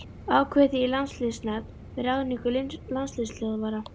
Ákveðið þið í landsliðsnefnd með ráðningu landsliðsþjálfara?